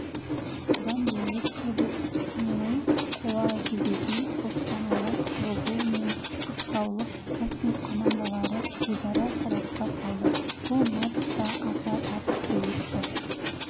бұдан бөлек кубок сынының қола жүлдесін қостанайлық тобыл мен ақтаулық каспий командалары өзара сарапқа салды бұл матч та аса тартысты өтті